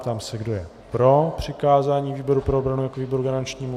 Ptám se, kdo je pro přikázání výboru pro obranu jako výboru garančnímu.